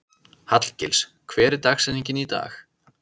Hallgils, hver er dagsetningin í dag?